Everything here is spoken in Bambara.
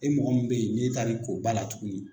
E mɔgɔ min bɛ ye n'e taar'i ko ba la tuguni.